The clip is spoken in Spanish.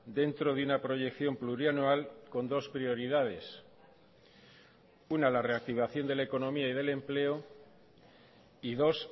dentro de una proyección plurianual con dos prioridades una la reactivación de la economía y del empleo y dos